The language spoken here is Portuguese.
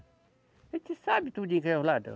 A gente sabe tudinho quem é o ladrão.